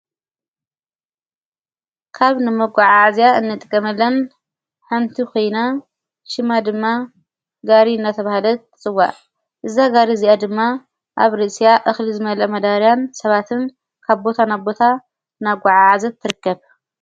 ካብ ንመጕዓዓእዚያ እንጥቀመለን ሓንቲ ኮይና ሽማ ድማ ጋሪ እናተብሃለት ትጽዋ እዛ ጋሪ እዚኣ ድማ ኣብ ርእስያ እኽሊ ዝመለአ መዳርያን ሰባትን ካቦታ ናቦታ ናጕዓ ዓዘት ትርከብ፡፡